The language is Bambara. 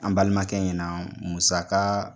An balimankɛ ɲɛna, musaka